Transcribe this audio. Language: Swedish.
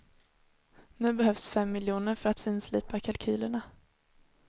Nu behövs fem miljoner för att finslipa kalkylerna.